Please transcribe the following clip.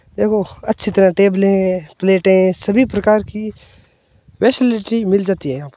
देखो अच्छी तरह टेबले है प्लेटे है सभी प्रकार की फेसिलिटी मिल जाती है यहा पर।